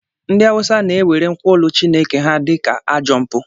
Ndị Awụsa na-ewere nkwulu Chineke ha dị ka ajọ mpụ.